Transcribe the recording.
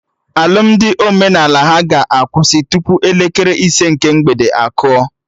Alụmdi omenala ha ga-akwụsị tupu elekere ise nke mgbede akụọ